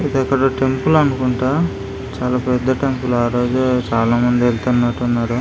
ఇది ఇక్కడ టెంపుల్ అనుకుంటా చాలా పెద్ధ టెంపుల్ ఆరోజే చాలా మంది వెళ్తునట్టు ఉన్నారు.